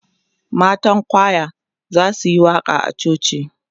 matan kwaya zasuyi waƙa a coci